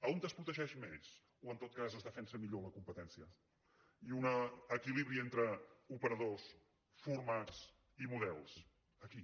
on es protegeix més o en tot cas es defensa millor la competència i hi ha un equilibri entre operadors formats i models aquí